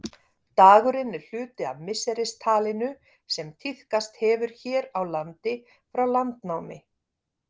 Dagurinn er hluti af misseristalinu sem tíðkast hefur hér á landi frá landnámi.